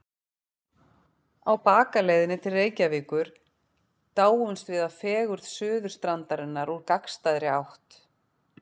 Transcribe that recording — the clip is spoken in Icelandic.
Á bakaleiðinni til Reykjavíkur dáumst við að fegurð Suðurstrandarinnar úr gagnstæðri átt.